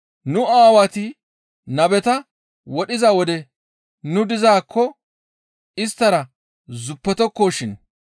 Nu aawati nabeta wodhiza wode nu dizaakko isttara zuppetokko shin,